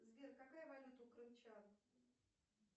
сбер какая валюта у крымчан